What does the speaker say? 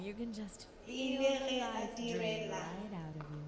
e le ge a direla